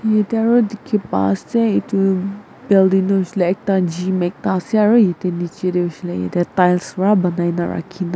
jatte aru dekhi pai ase etu building hoise le ekta gym ekta ase aru etu niche te hoise le ete tiles para bonai na rakhi na--